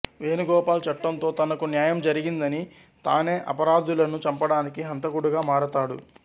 వేణుగోపాల్ చట్టంతో తనకు న్యాయం జరగదని తానే అపరాధులను చంపడానికి హంతకుడిగా మారతాడు